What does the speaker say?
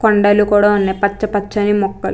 కొండలు కూడా ఉన్నాయి . పచ్చ పచ్చని మొక్కలు --